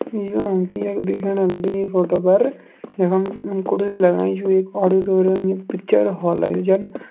योन त यख दिखेण लगी इं फोटो पर यखम लगाईं च वेगि ऑडिटोरियम की पिक्चर हॉल की ज़न।